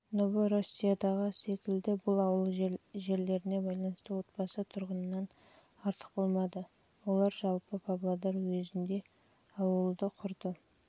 новороссиядағы секілді бұл ауыл жерлеріне байланысты отбасы тұрғыннан артық болмады олар жалпы павлодар уезінде ауылды құрды